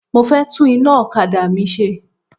Mo fẹ́ tún iná okada mi ṣe.